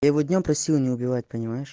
я его днём просила не убивать понимаешь